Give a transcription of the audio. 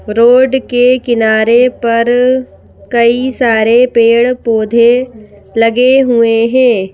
Road के किनारे पर कई सारे पेड़-पौधे लगे हुए हैं।